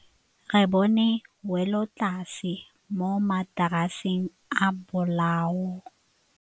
Re bone wêlôtlasê mo mataraseng a bolaô.